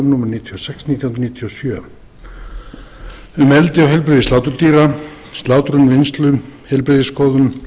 nítján hundruð níutíu og sjö um eldi og heilbrigði sláturdýra slátrun vinnslu heilbrigðisskoðun